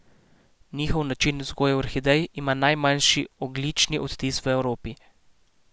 Njihov način vzgoje orhidej ima najmanjši ogljični odtis v Evropi.